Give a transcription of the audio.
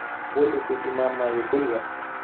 Waligey iman maayo gurigan